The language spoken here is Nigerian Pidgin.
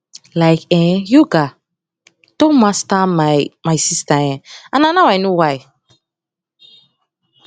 like um yoga don master my my sister um and na now i know why